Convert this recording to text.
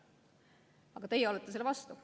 Aga teie olete selle vastu.